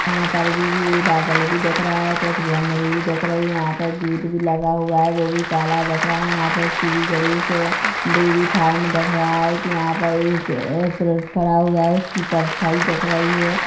यहाँ पर भी ये बादल भी दिख रहा है कुछ वोनेरी भी दिख रही है यहाँ पर गेट भी लगा हुआ है वो भी काला दिख रहा है यहाँ पे शिरी गणेश है डेरी फार्म दिख रहा है की यहाँ पर एक खड़ा हुआ है उसकी परछाई दिख रही है।